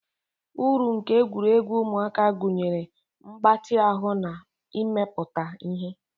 Uru nke egwuregwu ụmụaka gụnyere mgbatị ahụ na imepụta ihe.